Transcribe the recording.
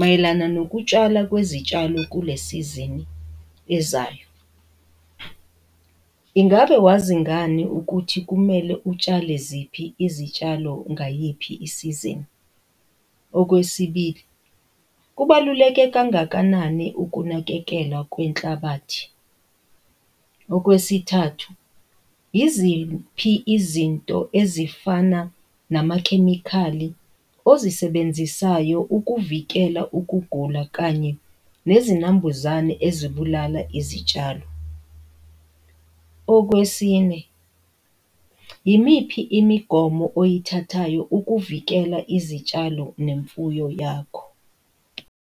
mayelana nokutshala kwezitshalo kule sizini ezayo. Ingabe wazi ngani ukuthi kumele utshale ziphi izitshalo ngayiphi isizini? Okwesibili, kubaluleke kangakanani ukunakekela kwenhlabathi? Okwesithathu, iziphi izinto ezifana namakhemikhali ozisebenzisayo ukuvikela ukugula kanye nezinambuzane ezibulala izitshalo? Okwesine, yimiphi imigomo oyithathayo ukuvikela izitshalo nemfuyo yakho?